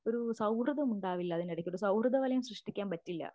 ഒരു സൗഹൃദമുണ്ടാവില്ല അതിനിടക്കൊരു സൗഹൃദവലയം സൃഷ്ടിക്കാൻ പറ്റില്ല